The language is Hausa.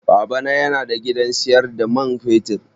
Baba na yana da gidan siyar da man fetur.